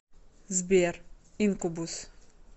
сбер инкубус